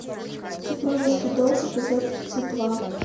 супружеский долг эпизод тридцать два